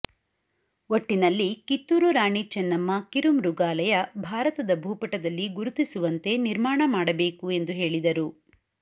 ಒಟ್ಟಿನಲ್ಲಿ ಕಿತ್ತೂರು ರಾಣಿ ಚನ್ನಮ್ಮಾ ಕಿರು ಮೃಗಾಲಯ ಭಾರತದ ಭೂಪಟದಲ್ಲಿ ಗುರುತಿಸುವಂತೆ ನಿರ್ಮಾಣ ಮಾಡಬೇಕು ಎಂದು ಹೇಳಿದರು